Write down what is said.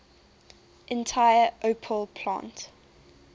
entire opel plant